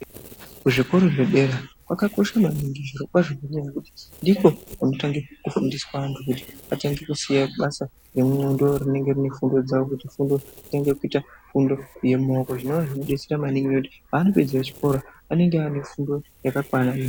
Kuzvikora zvedera, kwakakosha maningi zvirokwazvo nenyaya yekuti ndiko kunotange kufundiswa antu kuti atange kusiya basa nengqondo rinenge rinefundo dzavo kuti vatange kuita fundo yemawoko zvinova zvinodetsera maningi nekuti pavanopedza chikora vanenge vainefundo yakakwana.